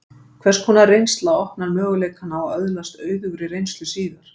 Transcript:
Hvers konar reynsla opnar möguleikana á að öðlast auðugri reynslu síðar?